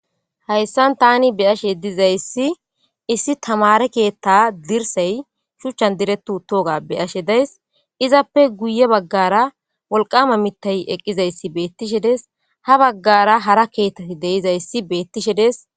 Haysan tan beyashe dizays issi tamare ketha dirsay shuchan diret utoga be'ashe days. Izappe guye bagara wolqama mithay eqidays betishe de'es. Ha bagara hara kethat de'zaysa betishe de'es.